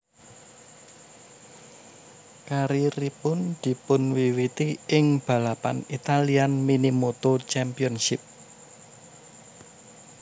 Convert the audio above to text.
Karieripun dipunwiwiti ing balapan Italian Minimoto Championship